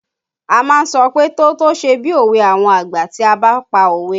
A má ń sọ pé "tótó ṣe bí òwe àwọn àgbà" tí a bá pa òwe